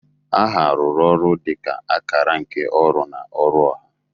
Aha rụrụ oru dị ka akara nke ọrụ na ọrụ ọha.